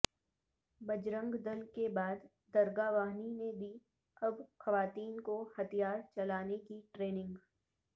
بجرنگ دل کے بعد درگا واہنی نے دی اب خواتین کو ہتھیار چلانے کی ٹریننگ